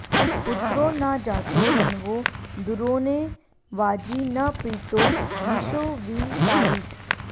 पुत्रो न जातो रण्वो दुरोणे वाजी न प्रीतो विशो वि तारीत्